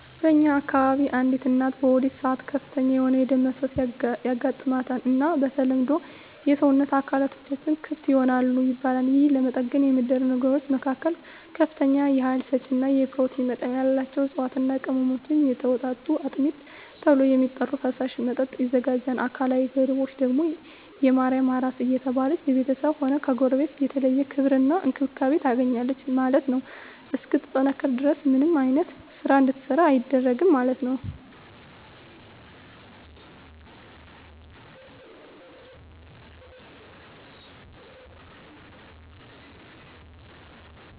በእኛ አከባቢ አንዲት እናት በወሊድ ሰአት ከፍተኛ የሆነ የደም መፍሰስ ያጋማታል እና በተለምዶ የሰወነት አካላትቶችም ክፍት ይሆናል ይባላል የህን ለመጠገን የሚደረጉ ነገሮች መካከል ከፍተኛ የሀይል ሰጪ እና የኘሮቲን መጠን ያላቸውን እፅዋትና ቅመሞች የተወጣጡ አጥሚት ተብሎ የሚጠራራ ፈሳሽ መጠጥ ይዘጋጃል አካላዊ ገደቦች ደግም የማርያም አራስ እየተባለች በቤተስብም ሆነ ከጎረቤት የተለየ ክብር እና እንክብካቤ ታገኛለች ማለት ነው እስክትጠነክር ድረስ ምንም አይነት ስራ እንድትሰራ አይደረግም ማለት ነው።